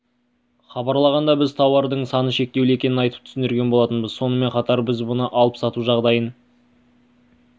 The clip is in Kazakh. хабарлағанда біз тауардың саны шектеулі екенін айтып түсіндірген болатынбыз сонымен қатар біз мұны алып-сату жағдайын